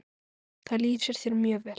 Það lýsir þér mjög vel.